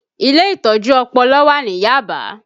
Ilé Ìtọ́jú Ọpọlọ wà ní Yaba